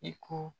I ko